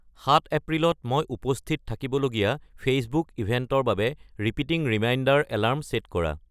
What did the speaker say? সাত এপ্ৰিলত মই উপস্থিত থাকিব লগীয়া ফেইচবুক ইভেণ্টৰ বাবে ৰিপিটিং ৰিমাইণ্ডাৰ এলাৰ্ম ছেট কৰা